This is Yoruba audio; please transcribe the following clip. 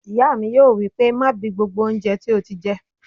Ìyá mi yóò wí pé "má bi gbogbo oúnjẹ tó ti jẹ!"